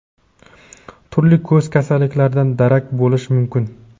turli ko‘z kasalliklaridan darak bo‘lishi mumkin.